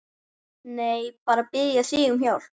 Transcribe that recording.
Nei, bara að biðja þig um hjálp.